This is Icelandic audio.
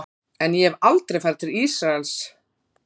En ég hef aldrei farið til Ísraels.